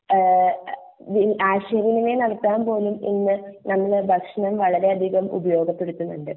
എഹ് ആശയ വിനിമയം നടത്താൻ പോലും ഇന്ന് ഭക്ഷണം വളരെ അതികം ഉപയോഗപ്പെടുത്തുന്നുണ്ട്